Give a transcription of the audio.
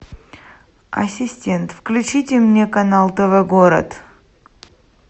ассистент включите мне канал тв город